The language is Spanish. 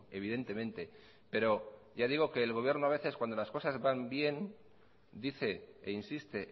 evidentemente pero el gobierno a veces cuando las cosas van bien dice e insiste